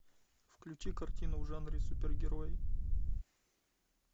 включи картину в жанре супергерой